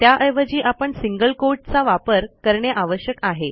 त्याऐवजी आपण single quote चा वापर करणे आवश्यक आहे